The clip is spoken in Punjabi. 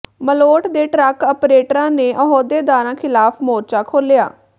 ਮਲੋਟ ਦੇ ਟਰੱਕ ਅਪਰੇਟਰਾਂ ਨੇ ਅਹੁਦੇਦਾਰਾਂ ਖ਼ਿਲਾਫ਼ ਮੋਰਚਾ ਖੋਲ੍ਹਿਆ